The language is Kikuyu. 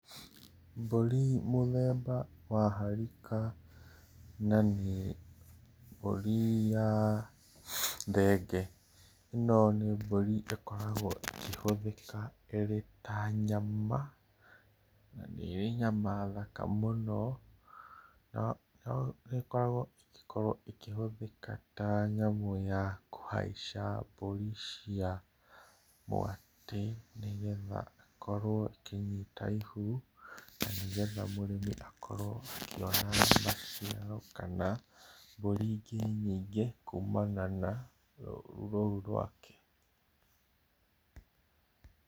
Mbũri mũthemba wa harĩka, na nĩ mbũri ya thenge, ĩno nĩ mbũri ĩkoragwo ĩkĩhũthĩka ĩrĩ ta nyama na nĩ ĩrĩ nyama thaka mũno no nĩ ĩgíkoragwo ĩkĩhũthĩka ta nyamũ ya kũhaica mbũri cia mwatĩ, nĩgetha ĩgĩkorwo ikĩnyita ihũ, na nĩgetha mũrĩmi akorwo akĩona maciaro kana mbũri ingĩ nyingĩ kũmana na rũrũ rũu rwake.